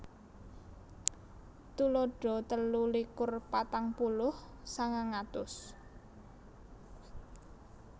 Tuladha telu likur patang puluh sangang atus